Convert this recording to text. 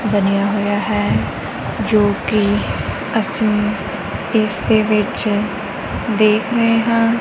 ਬਣਿਆ ਹੋਇਆ ਹੈ ਜੋ ਕਿ ਅਸੀਂ ਇਸ ਦੇ ਵਿੱਚ ਦੇਖ ਰਹੇ ਹਾਂ।